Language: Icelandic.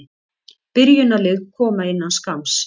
Byrjunarlið koma innan skamms.